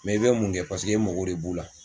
Mɛ i bɛ mun kɛ paseke mako de b'u la